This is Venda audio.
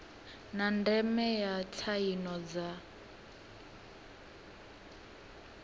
na ndeme ya tsaino dza